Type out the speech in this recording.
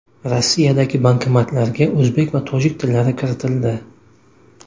Rossiyadagi bankomatlarga o‘zbek va tojik tillari kiritildi.